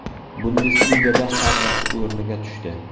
Bundesligada hammasi o‘rniga tushdi.